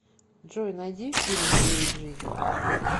джой найди фильм девять жизней